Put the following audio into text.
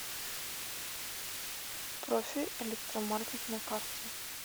профи электромаркет на карте